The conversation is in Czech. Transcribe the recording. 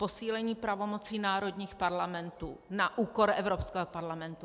Posílení pravomocí národních parlamentů na úkor Evropského parlamentu.